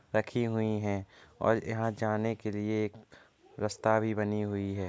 रखी हुई है और यहाँ जाने के लिए एक रास्ता भी बनी हुई है।